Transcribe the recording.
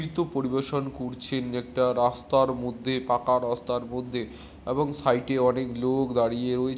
নৃত্য পরিবেশন করছেন একটা রাস্তার মধ্যে পাকা রাস্তার মধ্যে এবং সাইডে অনেক লোক দাঁড়িয়ে রয়ে--